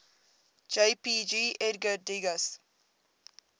jpg edgar degas